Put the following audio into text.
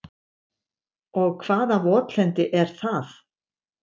Og hvaða votlendi er það?